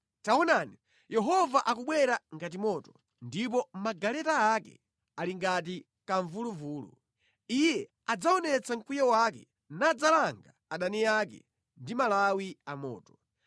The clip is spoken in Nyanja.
Taonani, Yehova akubwera ngati moto, ndipo magaleta ake ali ngati kamvuluvulu; Iye adzaonetsa mkwiyo wake nadzalanga adani ake ndi malawi amoto.